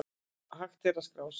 Hægt að skrá sig á